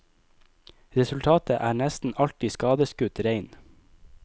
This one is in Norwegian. Resultatet er nesten alltid skadeskutt rein.